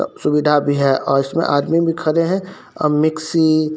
सुविधा भी है और इसमें आदमी भी खड़े हैं और मिक्सी --